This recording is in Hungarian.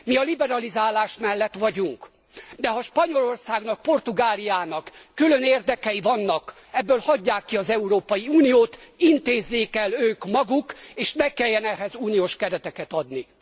Mi a liberalizálás mellett vagyunk, de ha Spanyolországnak, Portugáliának külön érdekei vannak, ebből hagyják ki az Európai Uniót, intézzék el ők maguk, és ne kelljen ehhez uniós kereteket adni.